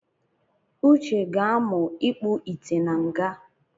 Uche ga-amụ ikpuite na nga